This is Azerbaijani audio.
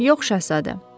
Yox, Şahzadə.